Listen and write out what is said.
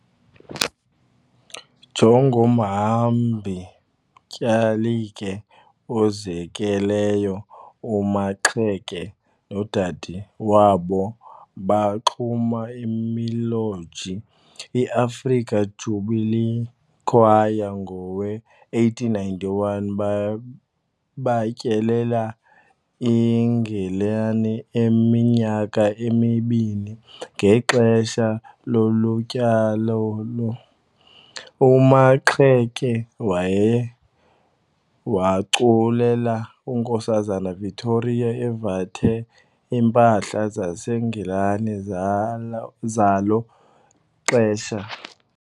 Njengomhambi-tyalike ozinekeleyo, uMaxeke nodade wabo baxuma imiloji iAfrican Jubilee Choir ngowe-1891 batyelela iNgilani iminyaka emibini. Ngexesha lolu tyalo, uMaxeke waye waculela uNkosazana Victoria evathe iimpahla zaseNgilane zala zalo xesha.